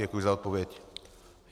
Děkuji za odpověď.